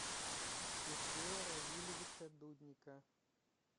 сергея равильевича дудника